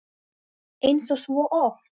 Eins og svo oft!